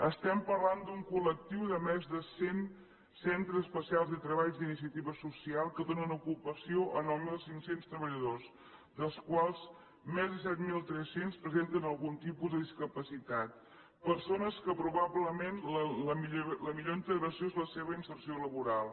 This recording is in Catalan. estem parlant d’un col·lectiu de més de cent centres especials de treball d’iniciativa social que donen ocupació a nou mil cinc cents treballadors dels quals més de set mil tres cents presenten algun tipus de discapacitat persones de què probablement la millor integració és la seva inserció laboral